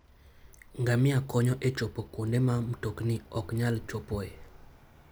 Ngamia konyo e chopo kuonde ma mtokni ok nyal chopoe.